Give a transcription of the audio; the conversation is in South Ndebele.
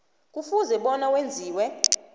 kufuze bona wenziwe